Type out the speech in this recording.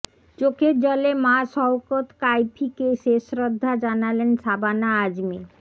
চোখের জলে মা সউকত কাইফিকে শেষ শ্রদ্ধা জানালেন সাবানা আজমি